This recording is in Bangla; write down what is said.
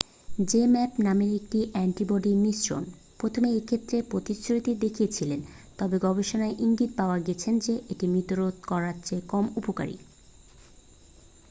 zmapp নামে একটি অ্যান্টিবডি মিশ্রণ প্রথমে এক্ষেত্রে প্রতিশ্রুতি দেখিয়েছিল তবে গবেষণায় ইঙ্গিত পাওয়া গেছে যে এটি মৃত্যু রোধ করার চেয়ে কম উপকারী